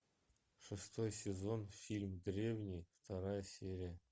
шестой сезон фильм древние вторая серия